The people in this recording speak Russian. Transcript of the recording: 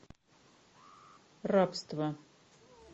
рабство